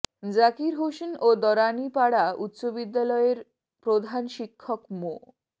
জাকির হোসেন ও দরানী পাড়া উচ্চ বিদ্যালয়ের প্রধান শিক্ষক মো